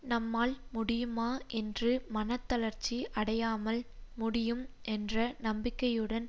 நம்மால் முடியுமா என்று மனத்தளர்ச்சி அடையாமல் முடியும் என்ற நம்பிக்கையுடன்